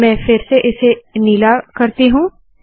तो अब मैं इसे फिर से नीला रखती हूँ